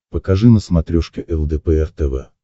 покажи на смотрешке лдпр тв